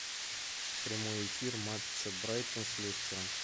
прямой эфир матча брайтон с лестером